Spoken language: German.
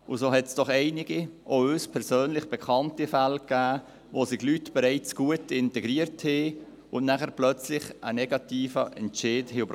So gab es doch einige, auch uns persönlich bekannte Fälle, wo sich Leute bereits gut integriert hatten und plötzlich einen negativen Entscheid erhielten.